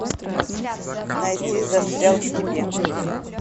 найти застрял в тебе